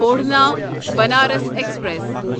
اوڑھنا Banaras express